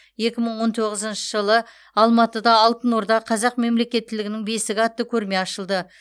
екі мың он тоғызыншы жылы алматыда алтын орда қазақ мемлекеттілігінің бесігі атты көрме ашылды